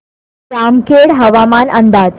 जामखेड हवामान अंदाज